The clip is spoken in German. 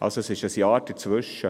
Es liegt also ein Jahr dazwischen.